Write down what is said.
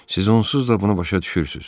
Siz onsuz da bunu başa düşürsünüz.